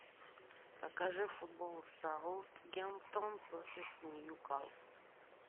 покажи футбол саутгемптон против нью касл